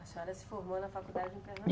A senhora se formou na faculdade em Pernam